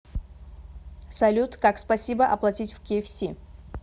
салют как спасибо оплатить в кфс